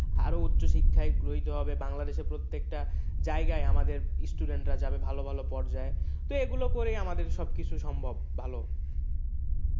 আরও উচ্চশিক্ষায় গ্রহীত হবে বাংলাদেশে প্রত্যেকটা জায়গায় আমাদের student রা যাবে ভালোভালো পর্যায়ে তো এগুলো করেই আমাদের সব কিছু সম্ভব ভালো